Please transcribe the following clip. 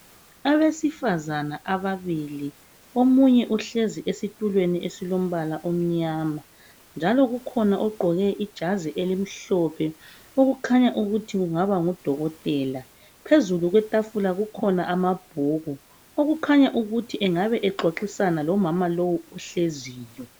Abesifazana ababili omunye uhlezi esitulweni esilombala omnyama. Njalo kukhona ogqoke ijazi elimhlophe okukhanya ukuthi kungaba ngudokotela. Phezulu kwetafula. kukhona amabhuku akukhanya ukuthi angabe exoxisana lomama lowu ohleziyo.